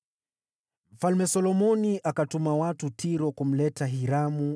Mfalme Solomoni akatuma watu Tiro kumleta Hiramu,